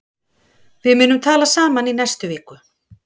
Við munum tala saman í næstu viku.